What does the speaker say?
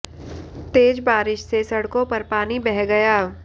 तेज बारिश से सड़कों पर पानी बह गया